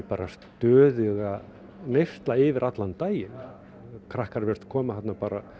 stöðuga neysla yfir allan daginn krakkar virðast koma þarna